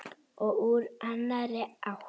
Og úr annarri átt.